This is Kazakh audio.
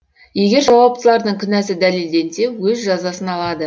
егер жауаптылардың кінәсі дәлелденсе өз жазасын алады